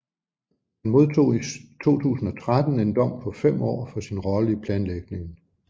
Han modtog i 2013 en dom på fem år for sin rolle i planlægningen